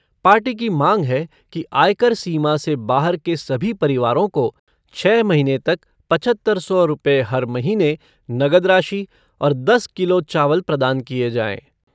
Party की मांग है कि आयकर सीमा से बाहर के सभी परिवारों को छः महीने तक सात हज़ार पाँच सौ रुपये हर महीने नगद राशि और दस किलो चावल प्रदान किए जाएँ।